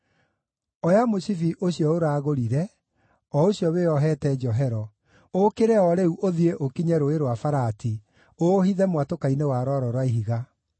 “Oya mũcibi ũcio ũraagũrire, o ũcio wĩohete njohero, ũũkĩre o rĩu ũthiĩ ũkinye Rũũĩ rwa Farati, ũũhithe mwatũka-inĩ wa rwaro rwa ihiga.”